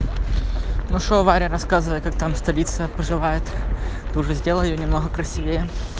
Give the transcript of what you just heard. ну что варя рассказывай как там столица поживает ты уже сделала её немного красивее